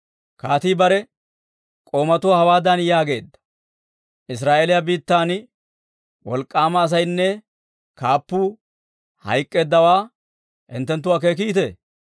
Kaatii bare k'oomatuwaa hawaadan yaageedda; «Israa'eeliyaa biittan wolk'k'aama asaynne kaappuu hayk'k'eeddawaa hinttenttu akeekikitee?